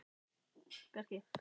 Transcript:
Sindri: Hvað er framundan?